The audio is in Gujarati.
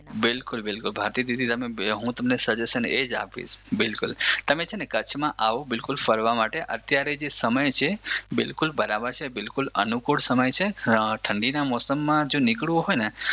બિલકુલ બિલકુલ ભારતીદીદી હું તમને સજેશન એજ આપીશ બિલકુલ તમે છે ને કચ્છમાં આવો બિલકુલ ફરવા માટે અત્યારે જે સમય છે બિલકુલ બરાબર છે બિલકુલ અનુકૂળ સમય છે ઠંડીના મોસમમાં જો નીકળવું હોય ને